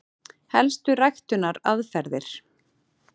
Helstu ræktunaraðferðir: